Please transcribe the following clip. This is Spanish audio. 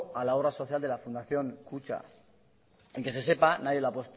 a la obra social de la fundación kutxa y que se sepa nadie la ha